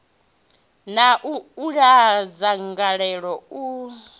na u uula dzangalelo i